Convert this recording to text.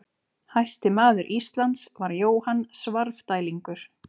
Hæsti maður Íslands var Jóhann Svarfdælingur.